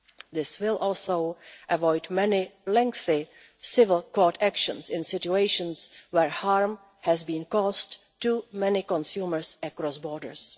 This will also avoid many lengthy civil court actions in situations where harm has been caused to many consumers across borders.